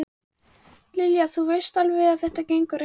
Lilja, þú veist alveg að þetta gengur ekki